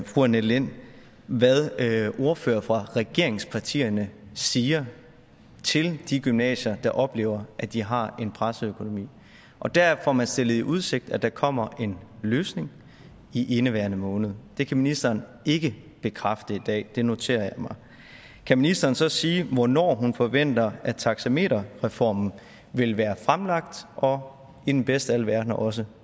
fru annette lind hvad ordførere fra regeringspartierne siger til de gymnasier der oplever at de har en presset økonomi og der får man stillet i udsigt at der kommer en løsning i indeværende måned det kan ministeren ikke bekræfte i dag det noterer jeg mig kan ministeren så sige hvornår hun forventer at taxameterreformen vil være fremlagt og i den bedste af alle verdener også